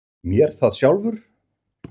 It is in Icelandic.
MÉR ÞAÐ SJÁLFUR!